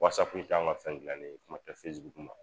Whatsapp in ta anw ŋa fɛn dilannen ye kuma tɛ facebook ma.